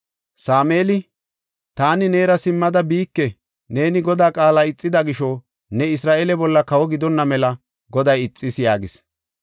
Sameeli, “Taani neera simmada biike; neeni Godaa qaala ixida gisho ne Isra7eele bolla kawo gidonna mela Goday ixis” yaagis.